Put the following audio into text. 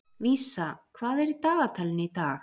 Vísa, hvað er á dagatalinu í dag?